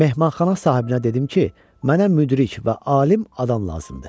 Mehmanxana sahibinə dedim ki, mənə müdrik və alim adam lazımdır.